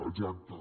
exacte